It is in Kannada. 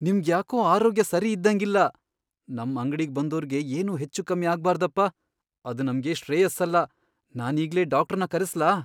ನಿಮ್ಗ್ ಯಾಕೋ ಆರೋಗ್ಯ ಸರಿ ಇದ್ದಂಗಿಲ್ಲ, ನಮ್ ಅಂಗ್ಡಿಗ್ ಬಂದೋರ್ಗೆ ಏನೂ ಹೆಚ್ಚೂಕಮ್ಮಿ ಆಗ್ಬಾರ್ದಪ್ಪ, ಅದ್ ನಮ್ಗೆ ಶ್ರೇಯಸ್ಸಲ್ಲ, ನಾನೀಗ್ಲೇ ಡಾಕ್ಟ್ರನ್ ಕರೆಸ್ಲಾ?